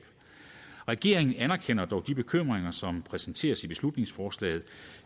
regeringen anerkender dog de bekymringer som præsenteres i beslutningsforslaget